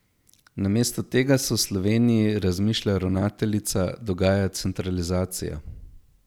Namesto tega se v Sloveniji, razmišlja ravnateljica, dogaja centralizacija.